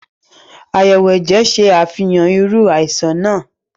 Ayẹwo ẹjẹ ṣe Àfihàn iru àìsàn nàá